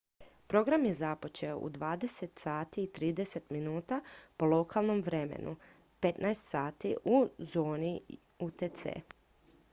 program je započeo u 20:30 sati po lokalnom vremenu 15:00 sati u zoni utc